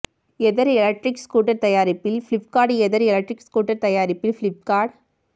எதர் electric scooter தயாரிப்பில் Flipkart Ather electric scooter தயாரிப்பில் ஃபிளிப்கார்ட்